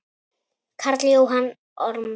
Karl Jóhann Ormsson